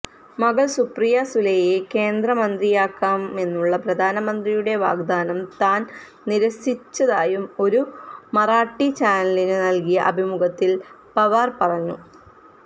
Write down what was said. മകള് സുപ്രിയ സുലെയെ കേന്ദ്രമന്ത്രിയാക്കാമെന്നുള്ള പ്രധാനമന്ത്രിയുടെ വാഗ്ദാനം താന് നിരസിച്ചതായും ഒരു മറാഠി ചാനലിനു നല്കിയ അഭിമുഖത്തില് പവാര് പറഞ്ഞു